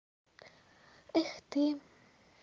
эх ты